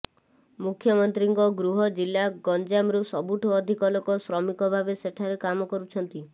ମୁଖ୍ୟମନ୍ତ୍ରୀଙ୍କ ଗୃହ ଜିଲ୍ଲା ଗଞ୍ଜାମରୁ ସବୁଠୁ ଅଧିକ ଲୋକ ଶ୍ରମିକ ଭାବେ ସେଠାରେ କାମ କରୁଛନ୍ତି